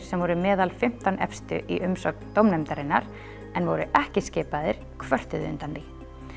sem voru meðal fimmtán efstu í umsögn dómnefndarinnar en voru ekki skipaðir kvörtuðu undan því